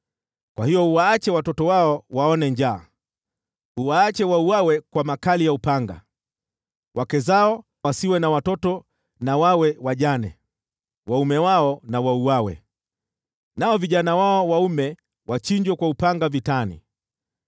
Kwa hiyo uwaache watoto wao waone njaa; uwaache wauawe kwa makali ya upanga. Wake zao wasiwe na watoto, na wawe wajane; waume wao wauawe, nao vijana wao waume wachinjwe kwa upanga vitani.